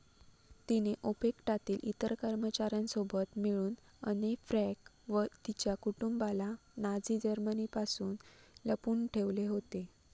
तिने ओपेक्टातील इतर कर्मचाऱ्यांसोबत मिळून अने फ्रँक व तिच्या कुटुंबाला नाझी जर्मनीपासून लपवून ठेवले होते.